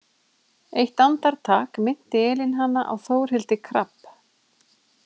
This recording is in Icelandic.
Eitt andartak minnti Elín hana á Þórhildi Krabbe.